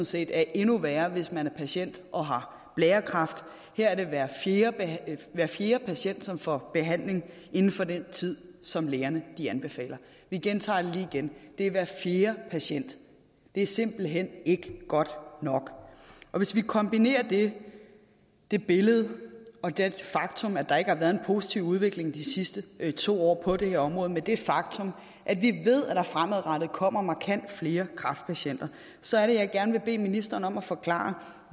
set er endnu værre hvis man er patient og har blærekræft her er det hver fjerde hver fjerde patient som får behandling inden for den tid som lægerne anbefaler jeg gentager det lige igen det er hver fjerde patient det er simpelt hen ikke godt nok og hvis vi kombinerer det det billede og det faktum at der ikke har været en positiv udvikling de sidste to år på det her område med det faktum at vi ved at der fremadrettet kommer markant flere kræftpatienter så er det jeg gerne vil bede ministeren om at forklare